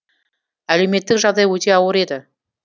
әлеуметтік жағдай өте ауыр еді